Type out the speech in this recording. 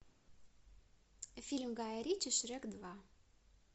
фильм гая ричи шрек два